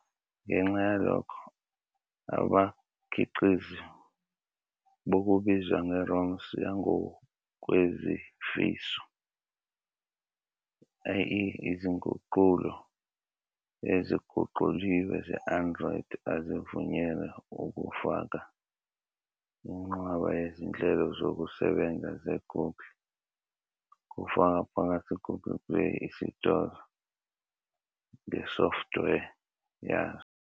Ngenxa yalokho, abakhiqizi bokubizwa nge-"ROMs yangokwezifiso", i.e. izinguqulo eziguquliwe ze-Android, azivunyelwe ukufaka inqwaba yezinhlelo zokusebenza ze-Google, kufaka phakathi i-Google Play Isitolo, ngesoftware yazo.